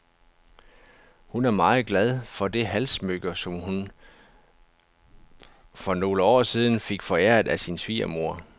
Hun er meget glad for det halssmykke, som hun for nogle år siden fik foræret af sin svigermor.